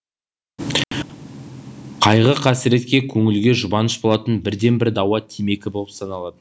қайғы қасіретке көңілге жұбаныш болатын бірден бір дауа темекі боп саналады